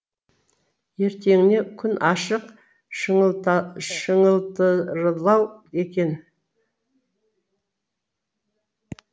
ертеңіне күн ашық шыңылтырлау екен